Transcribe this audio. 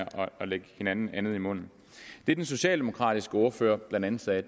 at lægge hinanden andet i munden det den socialdemokratiske ordfører blandt andet sagde